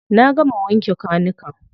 Na gama wanke kwanukan.